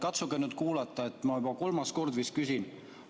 Katsuge nüüd kuulata, ma juba kolmas kord vist küsin.